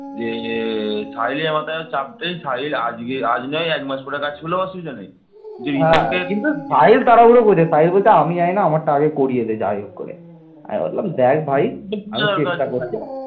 তিনি উত্তর ভারতে আক্রমণ করেন এবং গুর্জর রাজা নাগভট্টকে পরাজিত করে কনৌজ দখল করেন